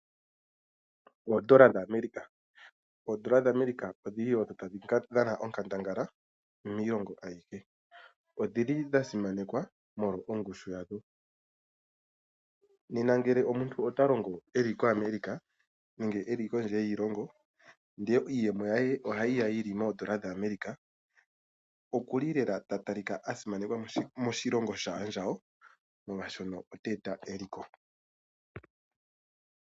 Oodola dhaAmerica Oodola dhaAmerica odhi li wo odho tadhi dhana onkandangala miilongo ayihe. Odhi li dha simanekwa molwa ongushu yadho. Nena ngele omuntu ota longo e li koAmerica nenge e li kondje yiilongo ndele iiyemo ye ohayi ya yi li moodola dhaAmerica okuli lela ta talika a simanekwa moshilongo shaandjawo molwashono ota eta eliko.